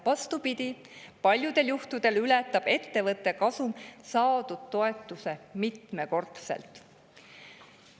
Vastupidi, paljudel juhtudel ületab ettevõtte kasum saadud toetuse mitmekordselt.